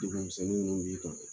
misɛnnin min b'i kan